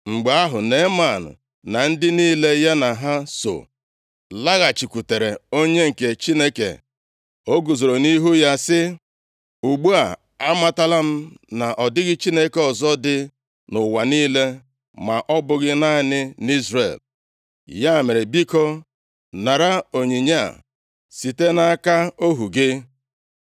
Mgbe ahụ, Neeman na ndị niile ya na ha so laghachikwutere onye nke Chineke. O guzoro nʼihu ya sị, “Ugbu a amatala m na ọ dịghị Chineke ọzọ dị nʼụwa niile ma ọ bụghị naanị nʼIzrel. Ya mere, biko, nara onyinye a site nʼaka ohu gị.”